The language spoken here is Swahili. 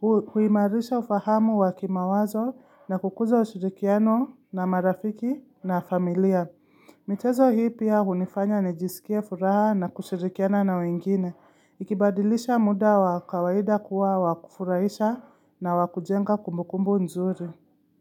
Hu huimarisha ufahamu wa kimawazo na kukuza ushirikiano na marafiki na familia. Michezo hii pia hunifanya ni jisikie furaha na kushirikiana na wengine. Ikibadilisha muda wa kawaida kuwa wakufurahisha na wakujenga kumbu kumbu mzuri.